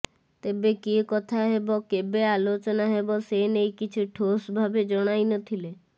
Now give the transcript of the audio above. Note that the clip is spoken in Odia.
ତେବେ କିଏ କଥା ହେବ କେବେ ଆଲୋଚନା ହେବ ସେ ନେଇ କିଛି ଠୋସ୍ ଭାବେ ଜଣାଇନଥିଲେ